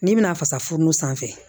N'i bɛna fasa fununnu sanfɛ